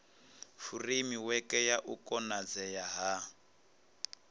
furemiweke ya u konadzea ha